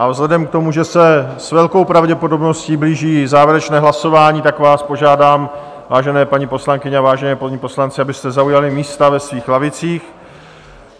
A vzhledem k tomu, že se s velkou pravděpodobností blíží závěrečné hlasování, tak vás požádám, vážené paní poslankyně a vážení páni poslanci, abyste zaujali místa ve svých lavicích.